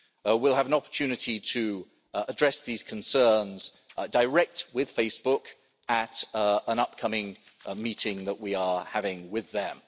We'll have an opportunity to address these concerns direct with Facebook at an upcoming meeting that we are having with them.